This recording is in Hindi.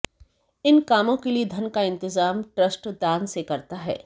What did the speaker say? इन कामों के लिए धन का इंतजाम ट्रस्ट दान से करता है